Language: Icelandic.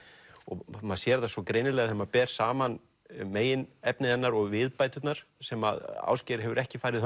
maður sér það svo greinilega þegar maður ber saman meginefni hennar og viðbæturnar sem Ásgeir hefur ekki farið